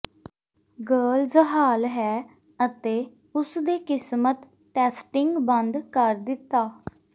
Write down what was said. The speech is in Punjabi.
ਗਰਲਜ਼ ਹਾਲ ਹੈ ਅਤੇ ਉਸ ਦੇ ਕਿਸਮਤ ਟੈਸਟਿੰਗ ਬੰਦ ਕਰ ਦਿੱਤਾ